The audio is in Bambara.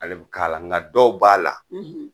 Ale be k'ala nga dɔw b'a la